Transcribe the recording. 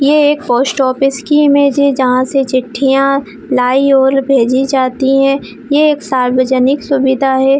ये एक post office की इमेज है जहाँ से चिट्ठियां लाई और भेजी जाती है ये एक सार्वजानिक सुविधा है।